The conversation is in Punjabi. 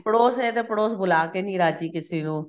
ਪੜੋਸ ਏ ਤਾਂ ਪੜੋਸ ਬੁਲਾ ਕੇ ਨੀਂ ਰਾਜੀ ਕਿਸੇ ਨੂੰ